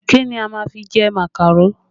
Kí ni a máa fi jẹ màkàró?